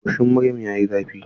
Goshin maryam yayi zafi.